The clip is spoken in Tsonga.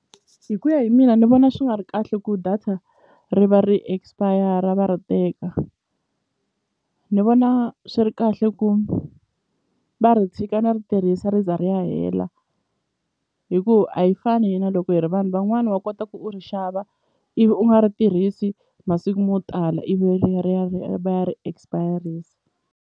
Hi ku ya hi mina ni vona swi nga ri kahle ku data ri va ri expire va ri teka ni vona swi ri kahle ku va ri tshika ni ri tirhisa ri za ri ya hela hi ku a hi fani hina loko hi ri vanhu van'wani wa kota ku u ri xava ivi u nga ri tirhisi masiku mo tala ivi ri ya ri ya ri ya va ya ri expire-isa.